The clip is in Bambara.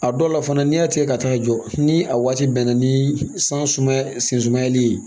A dɔw la fana n'i y'a tigɛ ka taa jɔ ni a waati bɛnna ni san sumaya sen sumanli ye